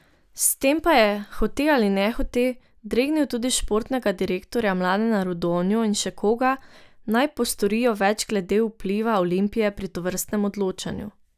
S tem pa je, hote ali nehote, dregnil tudi športnega direktorja Mladena Rudonjo in še koga, naj postorijo več glede vpliva Olimpije pri tovrstnem odločanju.